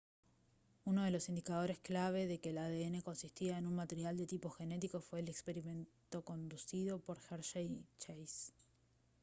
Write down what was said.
uno de los indicadores clave de que el adn consistía en un material de tipo genético fue el experimento conducido por hershey y chase